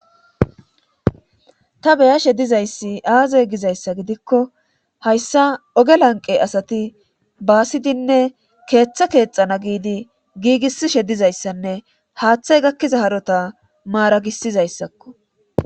ta beyashe dizayssi aaze gizayssa gidikko hayssa oge lanqe asati baasidinne keeththe keexana giidi giigisishe dizayssanne haaththey gakkiza harota maaragisizayssakko